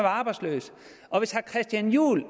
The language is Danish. arbejdsløse og hvis herre christian juhl